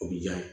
O bi ja